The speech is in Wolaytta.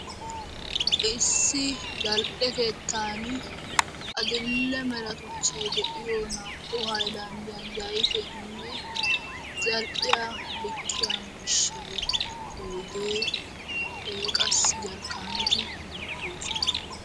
Issi zal'ee keettan adl'e mala meray de'iyo keettan zal'iya zal'iyo corabatti de'osonna.